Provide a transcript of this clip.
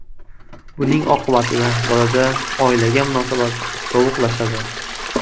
Buning oqibatida bolada oilaga munosabat sovuqlashadi.